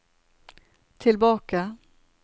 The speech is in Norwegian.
tilbake